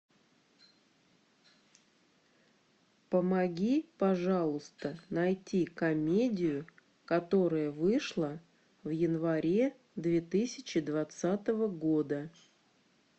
помоги пожалуйста найти комедию которая вышла в январе две тысячи двадцатого года